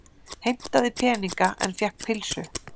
Heimtaði peninga en fékk pylsu